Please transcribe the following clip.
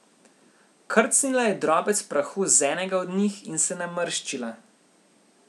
Krcnila je drobec prahu z enega od njih in se namrščila.